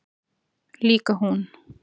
Líka hún.